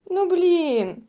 ну блин